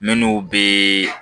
Minnu bɛ